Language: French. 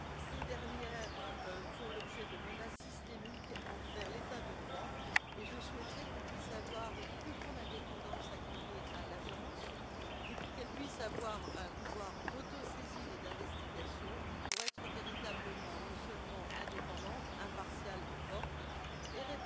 Ces dernières font l'objet de menaces systémiques envers l'État de droit et je souhaiterais qu'on puisse accorder une plus grande indépendance à l'Agence, et qu'elle ait un pouvoir d'autosaisine et d'investigation, pour être véritablement, non seulement indépendante mais aussi impartiale et forte, et